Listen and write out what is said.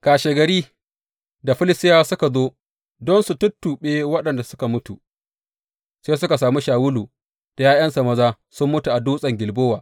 Kashegari, da Filistiyawa suka zo don su tuttuɓe waɗanda suka mutu, sai suka sami Shawulu da ’ya’yansa maza sun mutu a Dutsen Gilbowa.